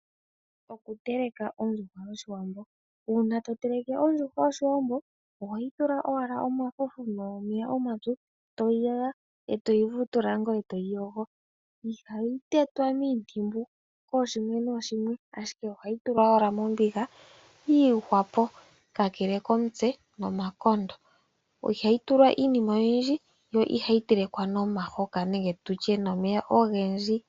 Okuteleka ondjuhwa yoshiwambo uuna to teleke ondjuhwa yoshiwambo ohoyi thula owala omafufu nomeya omatsu etoyi yaya eto yi vutula ngoye eto yi yogo. Ihayi tetwa miintimbu kooshimwe nooshimwe ashije ohayi tulwa owala mombiga yi ihwapo kakele komutse nomakondo . Ihayi tulwa iinima oyindji yo ihayi telekwa nomahoka nenge tutye nomeya ogendji.